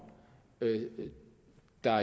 der